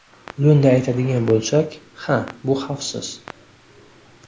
Lo‘nda aytadigan bo‘lsak – ha, bu xavfsiz.